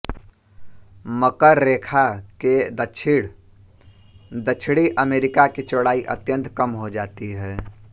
मकर रेखा के दक्षिण दक्षिणी अमेरिका की चौड़ाई अत्यन्त कम हो जाती है